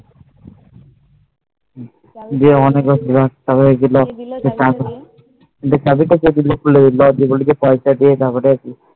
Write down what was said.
চাবি তা কে দিলো খুলে দিলো